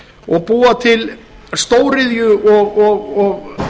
og búa til stóriðju og